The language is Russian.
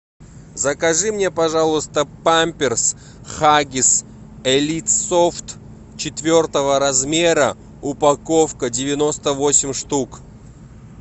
закажи мне пожалуйста памперс хаггис элит софт четвертого размера упаковка девяносто восемь штук